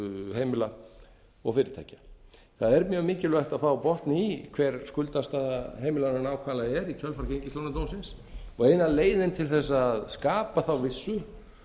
heimila og fyrirtækja það er mjög mikilvægt að fá botn í hver skuldastaða heimilanna nákvæmlega er í kjölfar gengislánadómsins eina leiðin til þess að skapa þá vissu